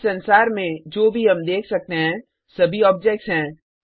इस संसार में जो भी हम देख सकते हैं सभी ऑब्जेक्ट्स हैं